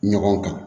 Ɲɔgɔn kan